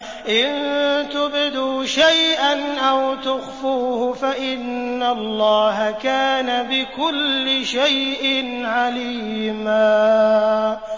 إِن تُبْدُوا شَيْئًا أَوْ تُخْفُوهُ فَإِنَّ اللَّهَ كَانَ بِكُلِّ شَيْءٍ عَلِيمًا